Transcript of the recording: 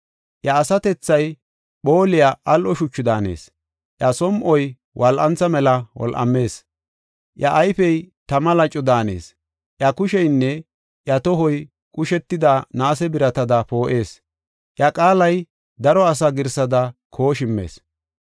Iya asatethay phooliya al7o shuchu daanees; iya som7oy wol7antha mela wol7amees; iya ayfey tama laco daanees; iya kusheynne iya tohoy qushetida naase biratada poo7ees; iya qaalay daro asa girsada kooshimmees.